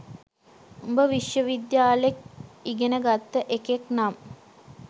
උඹ විශ්ව විද්‍යාලෙක් ඉගෙන් ගත්ත එකෙක් නම්